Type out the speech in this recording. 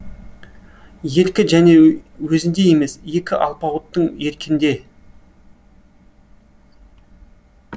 еркі және өзінде емес екі алпауыттың еркінде